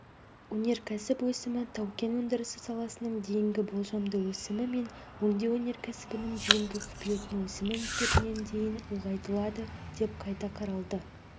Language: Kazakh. өнеркәсіп өсімі тау-кен өндірісі саласының дейінгі болжамды өсімі мен өңдеу өнеркәсібінің дейінгі күтілетін өсімі есебінен дейін ұлғайтылады деп қайта қаралды